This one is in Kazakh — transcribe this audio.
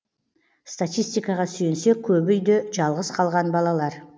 статистикаға сүйенсек көбі үйде жалғыз қалған балалар